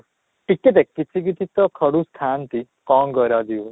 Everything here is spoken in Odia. ଟିକେ ଦେଖ କିଛି କିଛି ତ ଖଡୁଶ ଥାଆନ୍ତି କ'ଣ କରା ଯିବ